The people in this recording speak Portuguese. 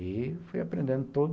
E fui aprendendo todo